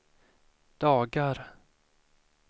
dagar